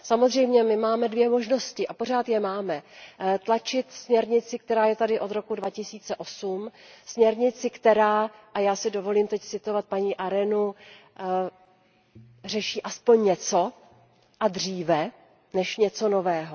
Samozřejmě my máme dvě možnosti a pořád je máme, tlačit směrnici, která je tady od roku 2008, směrnici, která a já si dovolím teď citovat paní Arenovou řeší aspoň něco a dříve, než něco nového.